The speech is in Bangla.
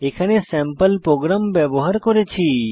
এখানে স্যাম্পল প্রোগ্রাম ব্যবহার করেছি